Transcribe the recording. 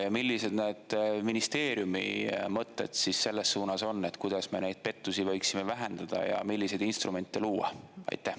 Ja millised need ministeeriumi mõtted selles suunas on, et kuidas me neid pettusi võiksime vähendada ja milliseid instrumente luua?